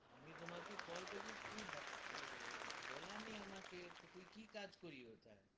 আমি তোমাকে কল করছিস তুই বাট, বলার নেই আমাকে কি তুই কি কাজ করি ওঠায়?